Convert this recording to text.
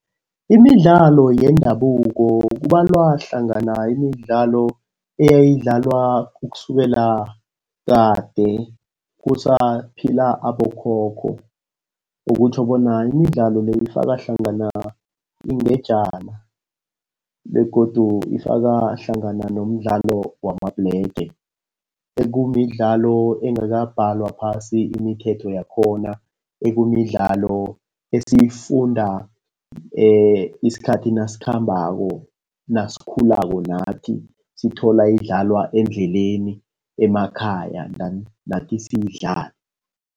Imidlalo yendabuko kubalwa hlangana imidlalo eyayidlalwa ukusukela kade kusaphila abokhokho. Okutjho bona imidlalo le ifaka hlangana ingejana begodu ifaka hlangana nomdlalo wamabhlege. Ekumidlalo engabhalwa phasi imithetho yakhona. Ekumidlalo esiyifunda isikhathi nasikhambako, nasisakhulako nathi sithola idlalwa endleleni, emakhaya then nathi siyidlale.